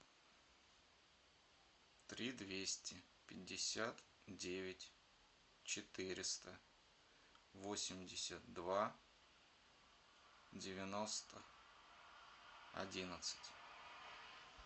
три двести пятьдесят девять четыреста восемьдесят два девяносто одиннадцать